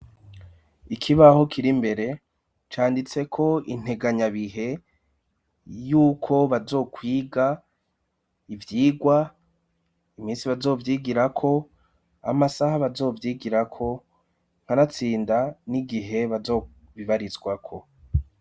Ikibaho kiri imbere canditseko integanyabihe yuko bazokwiga ivyigwa iminsi bazovyigirako, amasaha bazovyigirako kanatsinda n'igihe bazobibarizwako.